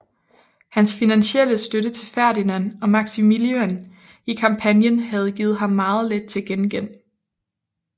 Hans finansielle støtte til Ferdinand og Maximillian i kampagnen havde givet ham meget lidt til gengæld